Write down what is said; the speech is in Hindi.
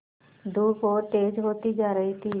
धूप और तेज होती जा रही थी